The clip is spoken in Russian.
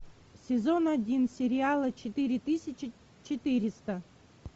сезон один сериала четыре тысячи четыреста